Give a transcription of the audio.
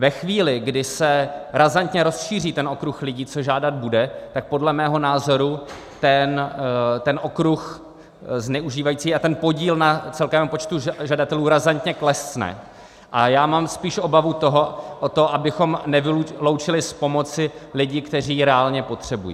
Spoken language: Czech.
Ve chvíli, kdy se razantně rozšíří ten okruh lidí, co žádat bude, tak podle mého názoru ten okruh zneužívajících a ten podíl na celkovém počtu žadatelů razantně klesne, a já mám spíš obavu o to, abychom nevyloučili z pomoci lidi, kteří ji reálně potřebují.